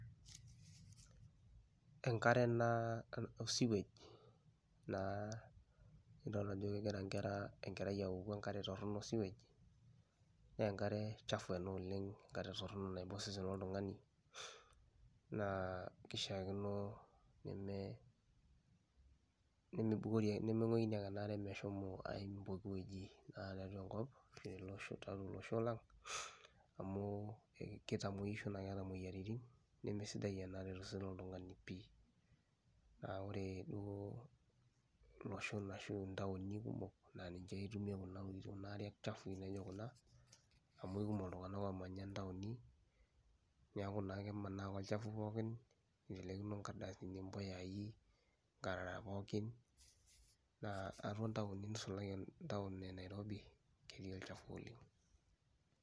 Enkare ena oo sewage naa nidolta ajo kegira inkera enkerai awoku enkare torono o sewage nee enkare chafu ena oleng', enkare torono naiba osesen loltung'ani naa kishaakino neme nemibukori nemeng'wikini ake ena are meshomo aim pooki wueji naa tiatua enkop peelo olosho lang' amu e kitamueisho naake eeta moyiaritin, nemesidai ena are to sesen loltung'ani pii. Naa ore duo iloshon ashu ntaoni kumok naa ninche itumia kuna aworito kuna ariak chafui naijo kuna amu aikumok iltung'anak oomanya intaoni. Neeku naa kemanaa ake olchafu pookin itelekino inkardasini impuyai, inkarara pookin naa atua ntaoni nisulaki entaon e Nairobi ketiii olchafu oleng'.